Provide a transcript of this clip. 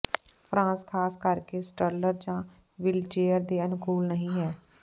France ਖਾਸ ਕਰਕੇ stroller ਜਾਂ ਵ੍ਹੀਲਚੇਅਰ ਦੇ ਅਨੁਕੂਲ ਨਹੀਂ ਹੈ